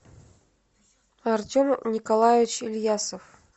артем николаевич ильясов